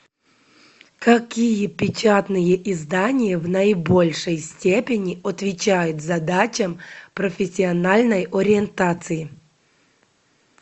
какие печатные издания в наибольшей степени отвечают задачам профессиональной ориентации